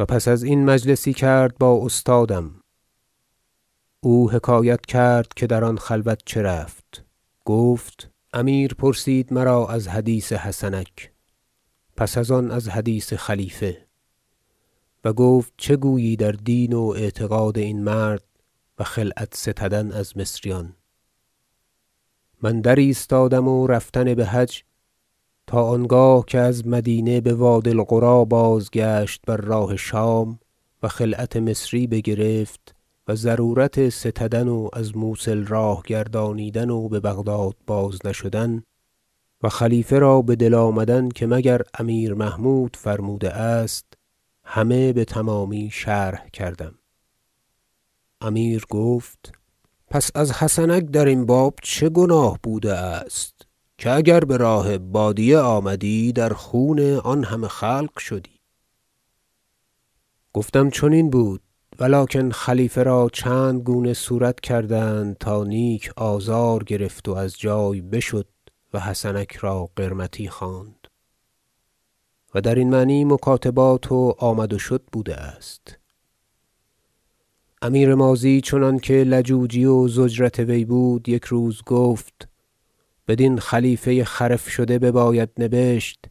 و پس از این مجلسی کرد با استادم او حکایت کرد که در آن خلوت چه رفت گفت امیر پرسید مرا از حدیث حسنک پس از آن از حدیث خلیفه و گفت چه گویی در دین و اعتقاد این مرد و خلعت ستدن از مصریان من در ایستادم و رفتن بحج تا آنگاه که از مدینه بوادی القری بازگشت بر راه شام و خلعت مصری بگرفت و ضرورت ستدن و از موصل راه گردانیدن و ببغداد باز نشدن و خلیفه را بدل آمدن که مگر امیر محمود فرموده است همه بتمامی شرح کردم امیر گفت پس از حسنک درین باب چه گناه بوده است که اگر به راه بادیه آمدی در خون آن همه خلق شدی گفتم چنین بود و لکن خلیفه را چندگونه صورت کردند تا نیک آزار گرفت و از جای بشد و حسنک را قرمطی خواند و درین معنی مکاتبات و آمد و شد بوده است امیر ماضی چنانکه لجوجی و ضجرت وی بود یک روز گفت بدین خلیفه خرف شده بباید نبشت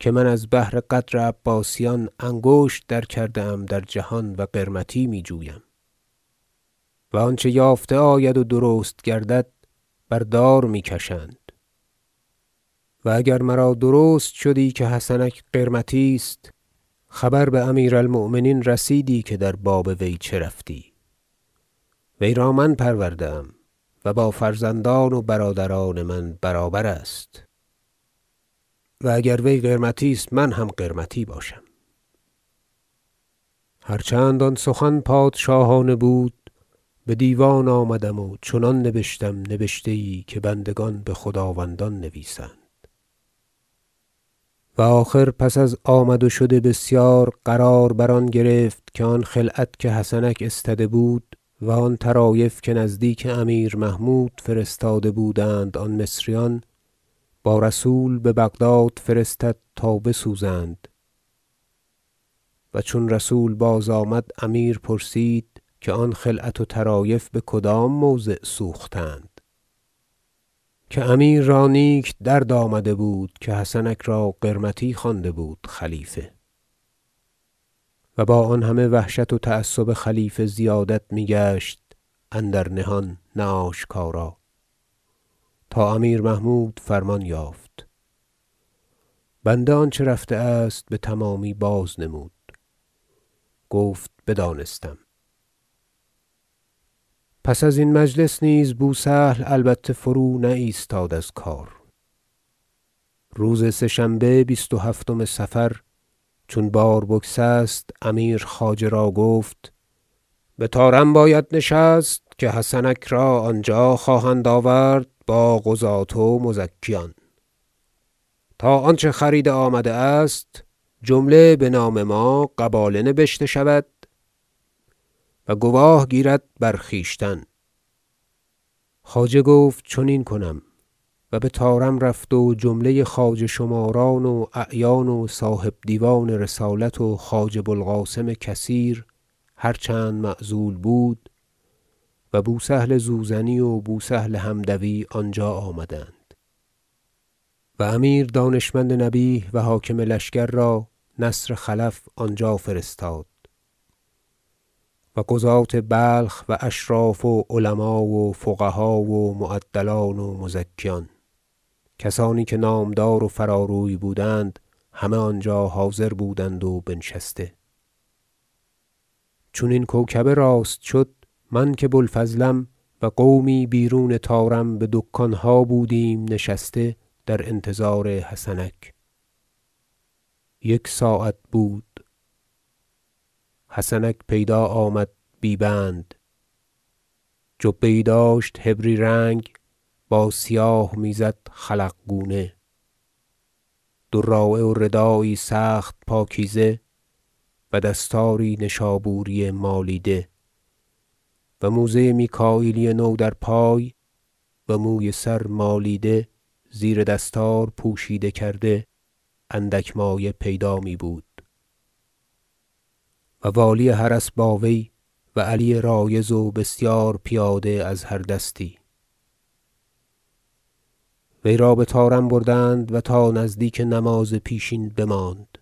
که من از بهر قدر عباسیان انگشت در کرده ام در همه جهان و قرمطی می جویم و آنچه یافته آید و درست گردد بر دار می کشند و اگر مرا درست شدی که حسنک قرمطی است خبر بامیر المؤمنین رسیدی که در باب وی چه رفتی وی را من پرورده ام و با فرزندان و برادران من برابر است و اگر وی قرمطی است من هم قرمطی باشم هر چند آن سخن پادشاهانه بود بدیوان آمدم و چنان نبشتم نبشته یی که بندگان بخداوندان نویسند و آخر پس از آمد و شد بسیار قرار بر آن گرفت که آن خلعت که حسنک استده بود و آن طرایف که نزدیک امیر محمود فرستاده بودند آن مصریان با رسول ببغداد فرستد تا بسوزند و چون رسول بازآمد امیر پرسید که آن خلعت و طرایف بکدام موضع سوختند که امیر را نیک درد آمده بود که حسنک را قرمطی خوانده بود خلیفه و با آن همه وحشت و تعصب خلیفه زیادت میگشت اندر نهان نه آشکارا تا امیر محمود فرمان یافت بنده آنچه رفته است بتمامی بازنمود گفت بدانستم پس از این مجلس نیز بو سهل البته فرو نایستاد از کار روز سه شنبه بیست و هفتم صفر چون بار بگسست امیر خواجه را گفت بطارم باید نشست که حسنک را آنجا خواهند آورد باقضاة و مزکیان تا آنچه خریده آمده است جمله بنام ما قباله نبشته شود و گواه گیرد بر خویشتن خواجه گفت چنین کنم و بطارم رفت و جمله خواجه شماران و اعیان و صاحب دیوان رسالت و خواجه بو القاسم کثیر - هر چند معزول بود- و بو سهل زوزنی و بو سهل حمدوی آنجا آمدند و امیر دانشمند نبیه و حاکم لشکر را نصر خلف آنجا فرستاد و قضاة بلخ و اشراف و علما و فقها و معدلان و مزکیان کسانی که نامدار و فراروی بودند همه آنجا حاضر بودند و بنشسته چون این کوکبه راست شد- من که بو الفضلم و قومی بیرون طارم بدکانها بودیم نشسته در انتظار حسنک- یک ساعت بود حسنک پیدا آمد بی بند جبه یی داشت حبری رنگ با سیاه میزد خلق گونه دراعه و ردایی سخت پاکیزه و دستاری نشابوری مالیده و موزه میکاییلی نو در پای و موی سر مالیده زیر دستار پوشیده کرده اندک مایه پیدا می بود و والی حرس باوی و علی رایض و بسیار پیاده از هر دستی وی را بطارم بردند و تا نزدیک نماز پیشین بماند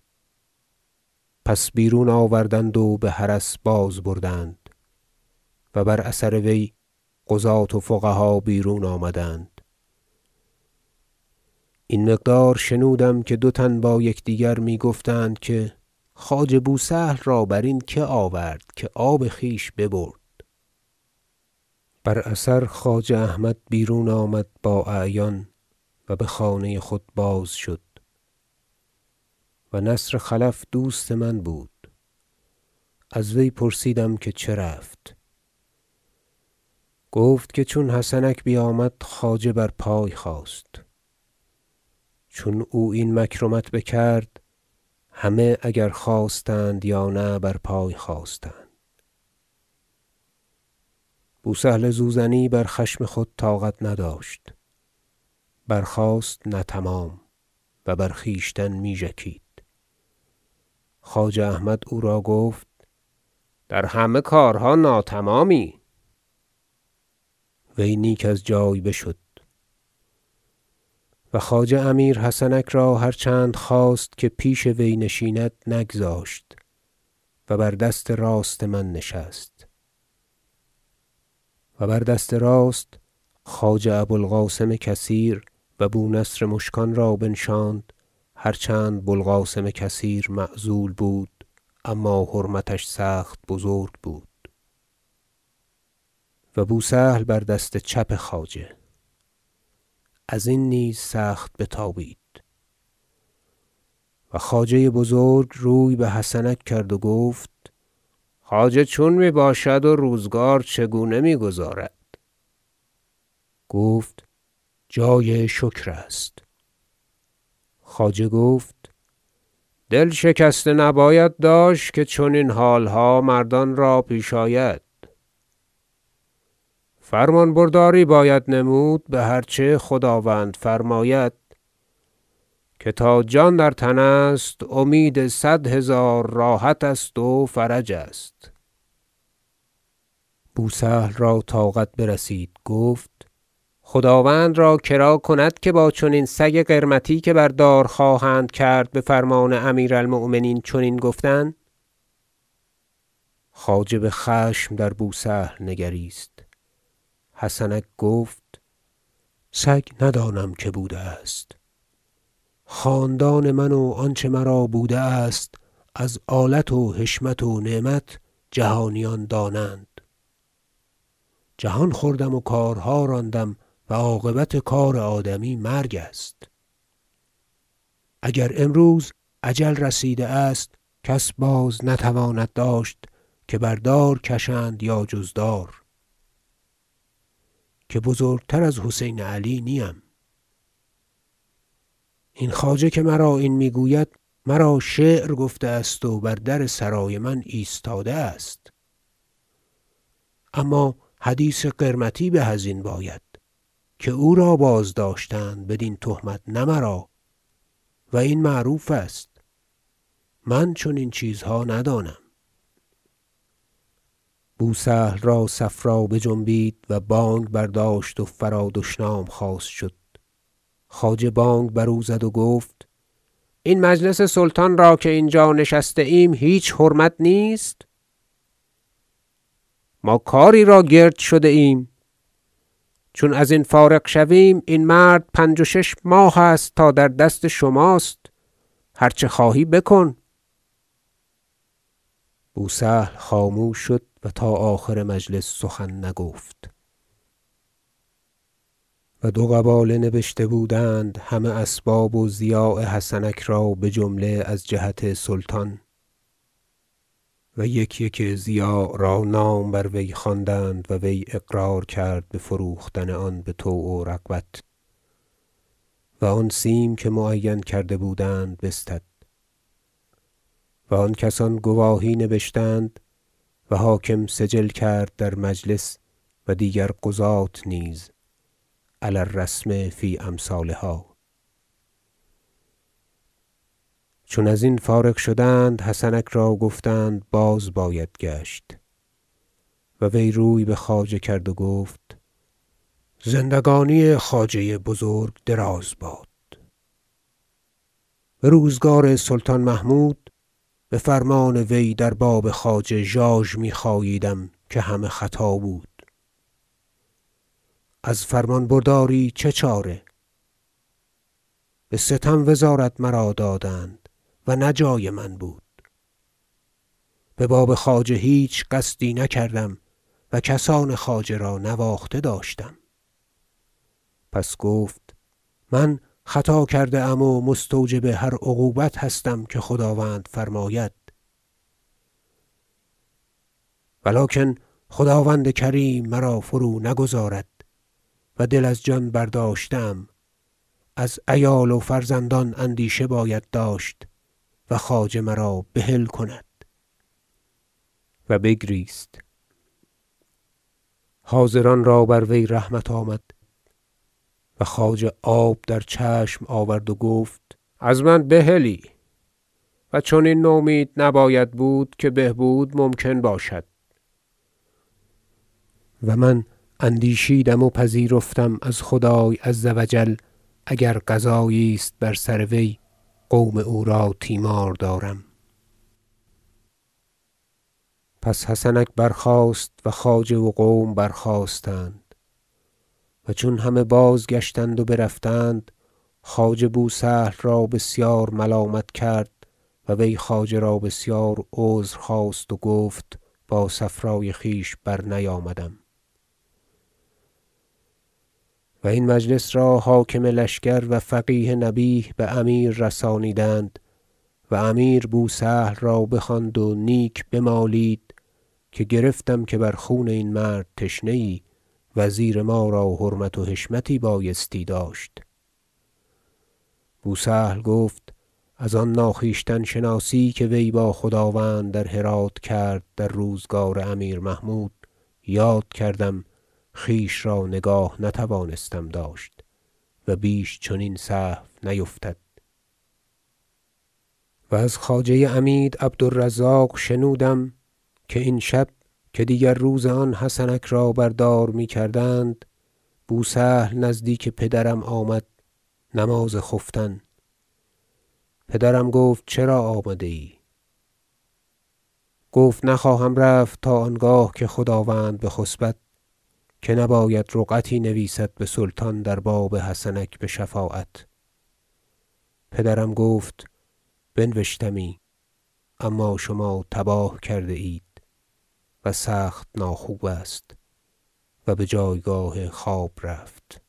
پس بیرون آوردند و بحرس بازبردند و بر اثر وی قضاة و فقها بیرون آمدند این مقدار شنودم که دوتن با یکدیگر می گفتند که خواجه بو سهل را برین که آورد که آب خویش ببرد بر اثر خواجه احمد بیرون آمد با اعیان و بخانه خود بازشد و نصر خلف دوست من بود از وی پرسیدم که چه رفت گفت که چون حسنک بیامد خواجه بر پای خاست چون او این مکرمت بکرد همه اگر خواستند یا نه بر پای خاستند بو سهل زوزنی بر خشم خود طاقت نداشت برخاست نه تمام و بر خویشتن می ژکید خواجه احمد او را گفت در همه کارها ناتمامی وی نیک از جای بشد و خواجه امیر حسنک را هر چند خواست که پیش وی نشیند نگذاشت و بر دست راست من نشست و بر دست راست خواجه ابو القاسم کثیر و بو نصر مشکان را بنشاند- هر چند بو القاسم کثیر معزول بود اما حرمتش سخت بزرگ بود- و بو سهل بر دست چپ خواجه ازین نیز سخت بتابید و خواجه بزرگ روی بحسنک کرد و گفت خواجه چون میباشد و روزگار چگونه میگذارد گفت جای شکر است خواجه گفت دل شکسته نباید داشت که چنین حالها مردان را پیش آید فرمان- برداری باید نمود بهرچه خداوند فرماید که تا جان در تن است امید صد هزار راحت است و فرج است بو سهل را طاقت برسید گفت خداوند را کرا کند که با چنین سگ قرمطی که بردار خواهند کرد بفرمان امیر المؤمنین چنین گفتن خواجه بخشم در بو سهل نگریست حسنک گفت سگ ندانم که بوده است خاندان من و آنچه مرا بوده است از آلت و حشمت و نعمت جهانیان دانند جهان خوردم و کارها راندم و عاقبت کار آدمی مرگ است اگر امروز اجل رسیده است کس بازنتواند داشت که بر دار کشند یا جز دار که بزرگتر از حسین علی نیم این خواجه که مرا این میگوید مرا شعر گفته است و بر در سرای من ایستاده است اما حدیث قرمطی به ازین باید که او را بازداشتند بدین تهمت نه مرا و این معروف است من چنین چیزها ندانم بو سهل را صفرا بجنبید و بانگ برداشت و فرا دشنام خواست شد خواجه بانگ بر او زد و گفت این مجلس سلطان را که اینجا نشسته ایم هیچ حرمت نیست ما کاری را گرد شده ایم چون ازین فارغ شویم این مرد پنج و شش ماه است تا در دست شماست هر چه خواهی بکن بو سهل خاموش شد و تا آخر مجلس سخن نگفت و دو قباله نبشته بودند همه اسباب و ضیاع حسنک را بجمله از جهت سلطان و یک یک ضیاع را نام بر وی خواندند و وی اقرار کرد بفروختن آن بطوع و رغبت و آن سیم که معین کرده بودند بستد و آن کسان گواهی نبشتند و حاکم سجل کرد در مجلس و دیگر قضاة نیز علی الرسم فی امثالها چون ازین فارغ شدند حسنک را گفتند باز باید گشت و وی روی بخواجه کرد و گفت زندگانی خواجه بزرگ دراز باد بروزگار سلطان محمود بفرمان وی در باب خواجه ژاژمی خاییدم که همه خطا بود از فرمان برداری چه چاره به ستم وزارت مرا دادند و نه جای من بود بباب خواجه هیچ قصدی نکردم و کسان خواجه را نواخته داشتم پس گفت من خطا کرده ام و مستوجب هر عقوبت هستم که خداوند فرماید و لکن خداوند کریم مرا فرونگذارد و دل از جان برداشته ام از عیال و فرزندان اندیشه باید داشت و خواجه مرا بحل کند و بگریست حاضران را بر وی رحمت آمد و خواجه آب در چشم آورد و گفت از من بحلی و چنین نومید نباید بود که بهبود ممکن باشد و من اندیشیدم و پذیرفتم از خدای عزوجل اگر قضایی است بر سر وی قوم او را تیمار دارم پس حسنک برخاست و خواجه و قوم برخاستند و چون همه بازگشتند و برفتند خواجه بو سهل را بسیار ملامت کرد و وی خواجه را بسیار عذر خواست و گفت با صفرای خویش برنیامدم و این مجلس را حاکم لشکر و فقیه نبیه بامیر رسانیدند و امیر بو سهل را بخواند و نیک بمالید که گرفتم که بر خون این مرد تشنه ای وزیر ما را حرمت و حشمت بایستی داشت بو سهل گفت از آن ناخویشتن شناسی که وی با خداوند در هرات کرد در روزگار امیر محمود یاد کردم خویش را نگاه نتوانستم داشت و بیش چنین سهو نیفتد و از خواجه عمید عبد الرزاق شنودم که این شب که دیگر روز آن حسنک را بر دار میکردند بو سهل نزدیک پدرم آمد نماز خفتن پدرم گفت چرا آمده ای گفت نخواهم رفت تا آنگاه که خداوند بخسبد که نباید رقعتی نویسد بسلطان در باب حسنک بشفاعت پدرم گفت بنوشتمی اما شما تباه کرده اید و سخت نا خوب است و بجایگاه خواب رفت